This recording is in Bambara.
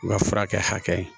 N ka furakɛ hakɛ